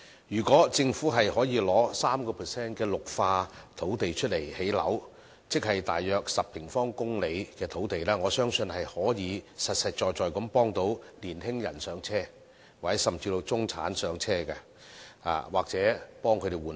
如果政府可以用 3% 的綠化土地來興建樓宇，即是大約10平方公里的土地，我相信可以實實在在協助年輕人"上車"，協助中產換樓。